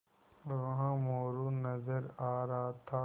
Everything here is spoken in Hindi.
वहाँ मोरू नज़र आ रहा था